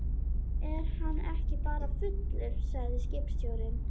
Er hann ekki bara fullur, segir skipstjórinn.